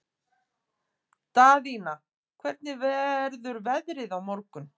Daðína, hvernig verður veðrið á morgun?